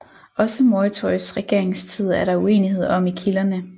Også Moytoys regeringstid er der uenighed om i kilderne